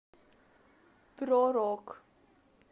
про рок